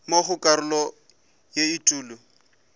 mo go karolo ya etulo